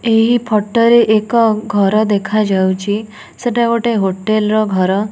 ଏହି ଫୋଟୋ ରେ ଏକ ଘର ଦେଖାଯାଉଚି ସେଟା ଗୋଟେ ହୋଟେଲ ର ଘର।